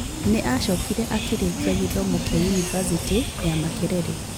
Nĩ acokire akĩrĩkia gĩthomo kĩa University ya Makerere.